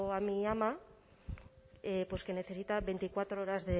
a mi ama pues que necesita veinticuatro horas